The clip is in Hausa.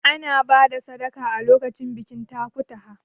Ana ba da sadaka a lokacin bikin takutaha.